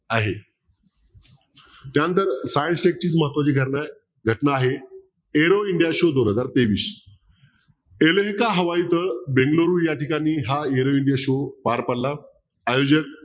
आहे त्यानंतर महत्वाची घटना आहे घटना आहे aero india show दोन हजार तेवीस हवाईच बेंगळुरू ठिकाणी हा aero india show पार पडला आयोजक